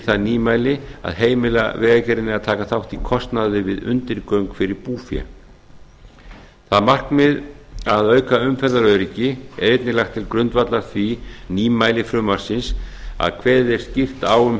það nýmæli að heimila vegagerðinni að taka þátt í kostnaði við undirgöng fyrir búfé það markmið að auka umferðaröryggi er einnig lagt til grundvallar því nýmæli frumvarpsins að kveðið er skýrt á um